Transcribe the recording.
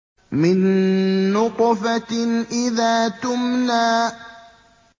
مِن نُّطْفَةٍ إِذَا تُمْنَىٰ